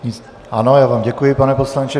Ano, já vám děkuji, pane poslanče.